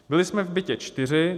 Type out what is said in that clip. Byli jsme v bytě čtyři.